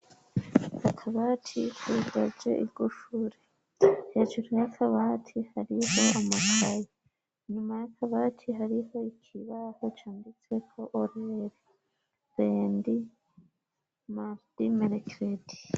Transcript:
Akabati hudaje igushure hejuru yakabati hariho amatayi nyuma yakabati hariho ikibaho cambitseko oreli bendi maredi melekedi.